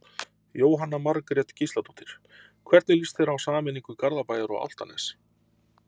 Jóhanna Margrét Gísladóttir: Hvernig lýst þér á sameiningu Garðabæjar og Álftanes?